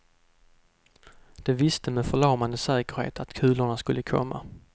De visste med förlamande säkerhet att kulorna skulle komma.